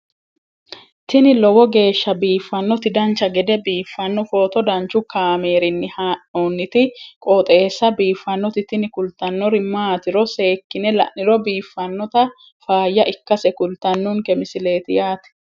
tini lowo geeshsha biiffannoti dancha gede biiffanno footo danchu kaameerinni haa'noonniti qooxeessa biiffannoti tini kultannori maatiro seekkine la'niro biiffannota faayya ikkase kultannoke misileeti yaate